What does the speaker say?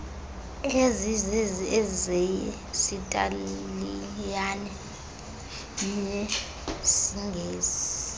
ezizezi eyesitaliyane nyesingesi